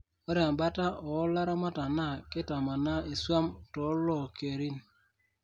ore embata oo laramatak naa keitamanaa iswam too lokerin